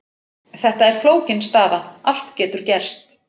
Þetta er flókin staða, allt getur gerst.